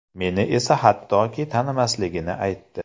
Meni esa hattoki tanimasligini aytdi!